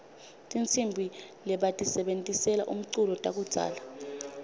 tihsimbi lebatisebentisela umculo takudzala